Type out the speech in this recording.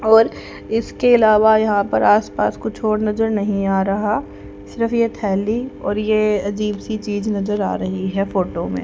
और इसके अलावा यहां पर आसपास कुछ और नजर नहीं आ रहा सिर्फ ये थैली और ये अजीब सी चीज नजर आ रही है फोटो में।